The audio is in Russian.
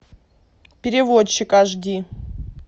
переводчик аш ди